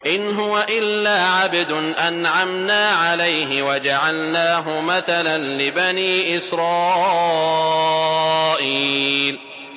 إِنْ هُوَ إِلَّا عَبْدٌ أَنْعَمْنَا عَلَيْهِ وَجَعَلْنَاهُ مَثَلًا لِّبَنِي إِسْرَائِيلَ